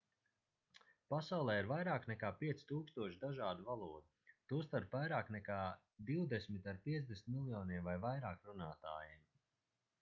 pasaulē ir vairāk nekā 5000 dažādu valodu tostarp vairāk nekā divdesmit ar 50 miljoniem vai vairāk runātājiem